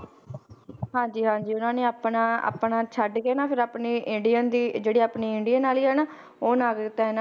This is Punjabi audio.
ਹਾਂਜੀ ਹਾਂਜੀ ਇਹਨਾਂ ਨੇ ਆਪਣਾ ਆਪਣਾ ਛੱਡ ਕੇ ਨਾ ਫਿਰ ਆਪਣੇ ਇੰਡੀਅਨ ਦੀ ਇਹ ਜਿਹੜੀ ਆਪਣੀ ਇੰਡੀਅਨ ਵਾਲੀ ਆ ਨਾ ਉਹ ਨਾਗਰਿਕਤਾ ਇਹ~